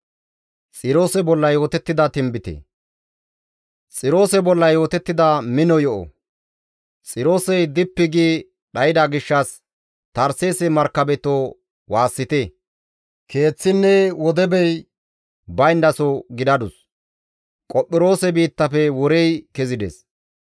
Xiroose bolla yootettida mino yo7o; Xiroosey dippi gi dhayda gishshas Tarseese markabetoo waassite; keeththinne wodebey bayndaso gidadus. Qophiroose biittafe worey kezides.